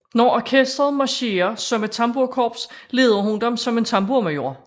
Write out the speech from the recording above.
Når orkestret marcherer som et tamburkops leder hun dem som en tamburmajor